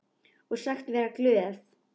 Og sagst vera glöð.